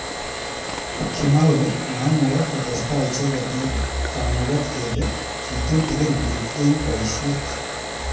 Kimwa kole maimukak kotestai icheket eng kamuket kele kitutikin bik eng boishet.